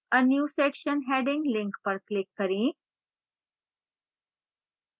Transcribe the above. a new section heading link पर click करें